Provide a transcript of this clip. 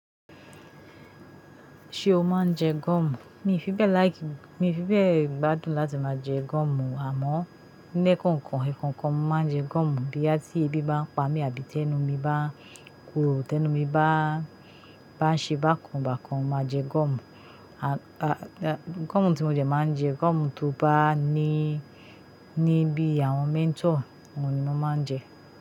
Ṣé o máa ń jẹ gọ́mù? Mi ò fi bẹ́ẹ̀ like, mi ò fi bẹ́ẹ̀ gbádùn láti máa jẹ gọ́mù, àmọ́ ní ẹ́ẹ̀kọ̀kan, ẹ̀ẹ̀kọ̀kan mo máa ń jẹ gọ́mù boya ti ẹbí bá ń pa mí àbí tí ẹnu mi bá korò, tí ẹnu mi bá, bá ń ṣe bákan bákan, mo máa jẹ gọ́mù. A, a, gọ́mù tí mo dẹ máa ń jẹ gọ́mù tó bá ní, ní bí àwọn mentor, òun ni mo máa ń jẹ.